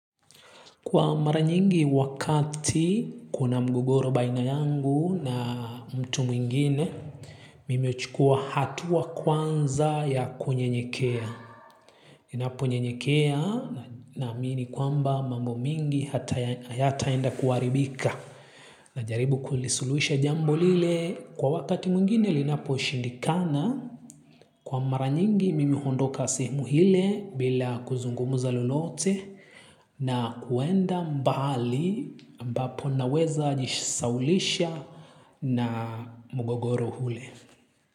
Kwa mara nyingi wakati kuna mgogoro baina yangu na mtu mwingine, mimi huchukua hatua kwanza ya kunyenyekea. Ninapo nyenyekea naamini kwamba mambo mingi hata yata enda kuwaribika na jaribu kulisulusha jambo lile kwa wakati mwingine linapo shindikana. Kwa mara nyingi mimi huondoka sehemu hile bila kuzungumuza lolote na kuenda mbali ambapo naweza jisawlisha na mugogoro ule.